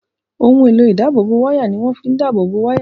Ohun èlò ìdáàbòbò wáyà ni wọ́n fi ń dáàbò bo wáyà